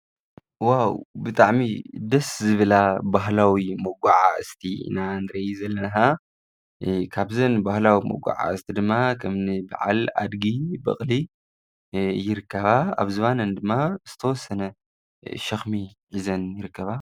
ዎዎ! ብጣዕሚ ደስ ዝብላ ባህላዊ መጓዓዝቲ ኢና ንርኢ ዘለና፤ ካብዘን ባህላዊ መጓዓዝቲ ድማ ከምኒ ብዓል ኣድጊ ፣በቅሊ ይርከባ፤ ኣብ ዝባነን ድማ ዝተወሰነ ሽክሚ ሒዘን ይርከባ ።